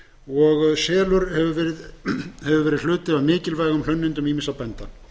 og selur hefur verið hluti af mikilvægum hlunnindum ýmissa bænda